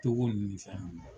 Togo nunnu ni fɛn nunnu.